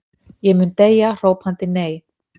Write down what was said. Ég mun deyja hrópandi nei.